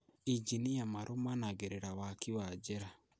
Injinia marũmanagĩrĩra waki wa njĩra